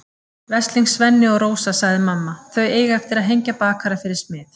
Veslings Svenni og Rósa, sagði mamma, þau eiga eftir að hengja bakara fyrir smið.